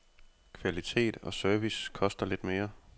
Kvalitet og service koster lidt mere.